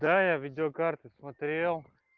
да я видеокарты смотрел